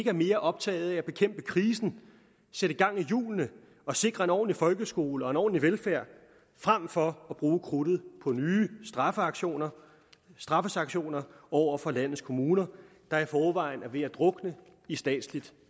er mere optagede af at bekæmpe krisen sætte gang i hjulene og sikre en ordentlig folkeskole og ordentlig velfærd frem for at bruge krudtet på nye straffesanktioner straffesanktioner over for landets kommuner der i forvejen er ved at drukne i statsligt